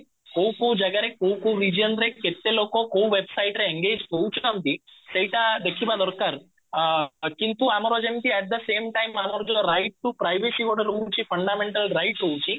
କୋଉ କୋଉ ଜାଗା ରେ କୋଉ କୋଉ region ରେ କେତେ ଲୋକ କୋଉ website ରେ engage ହଉଛନ୍ତି ସେଇଟା ଦେଖିବା ଦରକାର ଅ କିନ୍ତୁ ଆମର ଯେମିତି at the same time ଆମର ଯୋଉ right to privacy ଗୋଟେ ରହୁଛି fundamental rights ରହୁଛି